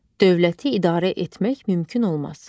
Dövləti idarə etmək mümkün olmaz.